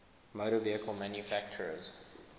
motor vehicle manufacturers